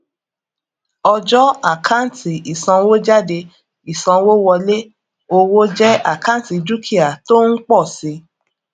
ọjọ àkántì ìsanwójáde ìsanwówọlé owó jẹ àkántì dúkìá tó ń pọ si